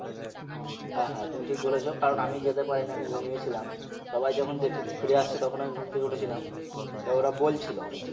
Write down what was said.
হ্যাঁ হ্যাঁ তুমি ঠিক বলেছো কারণ আমি যেতে পারি নি আমি ঘুমিয়ে ছিলাম সবাই যখন দেখে ফিরে আসছে তখন আমি ঘুম থেকে উঠেছিলাম তো ওরা বলছিলো